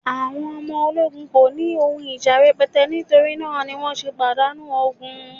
àwọn ọmọ ologun ko ni oun ija rẹpẹtẹ, nitori na ni wan se padanu ogun